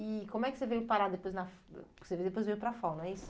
E como é que você veio parar depois na, ãh que você depois veio para a FAU, não é isso?